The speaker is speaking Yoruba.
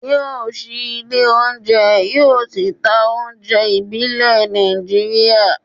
yóò ṣí ilé oúnjẹ, yóò sì ta oúnjẹ ìbílẹ̀ Nàìjíríà